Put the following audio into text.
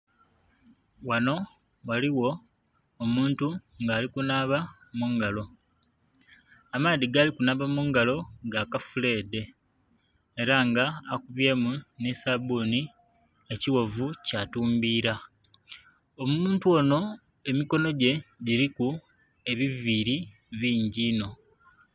Ghano ghaligho omuntu nga ali kunaaba mu ngalo. Amaadhi g'ali kunaaba mu ngalo ga kafuleedhe. Era nga akubyemu nhi sabbuni, ekighovu kya tumbiila. Omuntu onho emikono gye giliku ebiviili bingi inho.